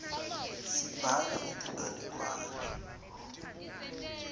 sibhala metinganekwane